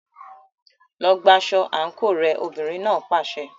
Lọ gba aṣọ àǹkóò rẹ, obìnrin náà pàṣẹ.